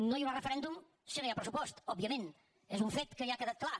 no hi haurà referèndum si no hi ha pressupost òbviament és un fet que ja ha quedat clar